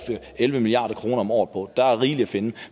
elleve milliard kroner om året på der er rigeligt at finde